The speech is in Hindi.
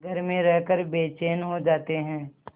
घर में रहकर बेचैन हो जाते हैं